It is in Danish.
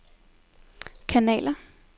kanaler